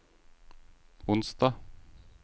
onsdag